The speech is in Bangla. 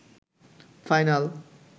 ফাইনাল